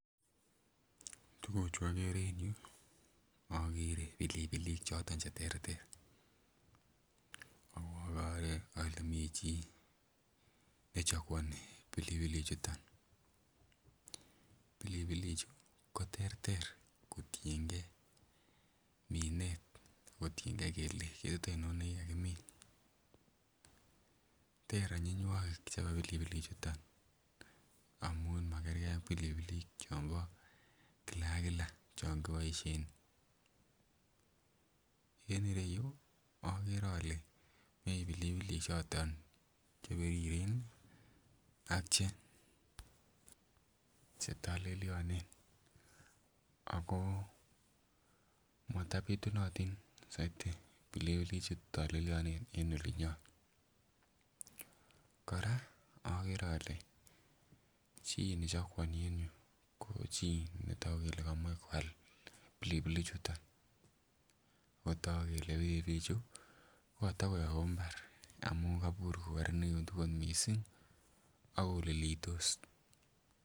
Tuguchu okere en yuu okere pilipilik choton cheterter, ak okere ole mi chii ne chaguoni pilipilik chuton. Pilipilik chu koterter kotiengei minet ako tiengei kele ketit oinon nekikakimin. Ter onyinywogik chebo pilipilik chuton amun makergee ak pilipilik chombo kila ak kila chon koboisien. En ireyu okere ole mii pilipilik choton chebiriren ih ak che chetolelyonen ako matobitunotin soiti pilipilik chutolelyonen en olinyon. Kora okere ole chii nechaguoni en yuu ko chii netogu kele komoe koal pilipilik chuton ako kotogu kele pilipilik chuu kokotokoyobu mbar amun kobur kokororenikitu kot missing ako lilitos